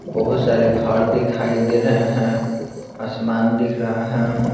बहुत सारे घर दिखाई दे रहे हैं आसमान दिख रहा है।